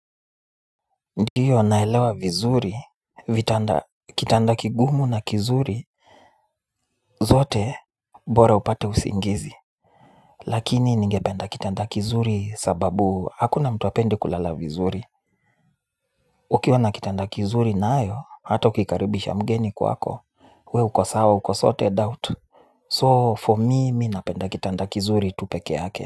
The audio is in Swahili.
Ndiyo naelewa vizuri vitanda kitanda kigumu na kizuri zote bora upate usingizi. Lakini ningependa kitanda kizuri sababu hakuna mtu hapendi kulala vizuri. Ukiwa na kitanda kizuri nayo hata ukikaribisha mgeni kwako We uko sawa uko sorted out So for me mi napenda kitanda kizuri tu pekeake.